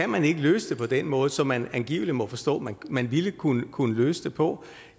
man ikke løse det på den måde som man angiveligt må forstå man man ville kunne kunne løse det på